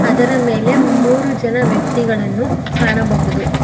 ಅದರ ಮೂರು ಜನ ವ್ಯಕ್ತಿಗಳನ್ನು ಕಾಣಬಹುದು.